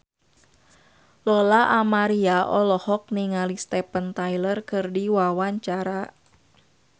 Lola Amaria olohok ningali Steven Tyler keur diwawancara